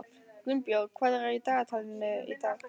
Gunnbjörn, hvað er í dagatalinu í dag?